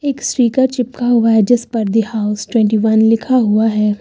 एक स्टीकर चिपका हुआ है जिस पर दी हाउस ट्वेन्टी वन लिखा हुआ है।